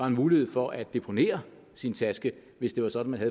en mulighed for at deponere sin taske hvis det er sådan at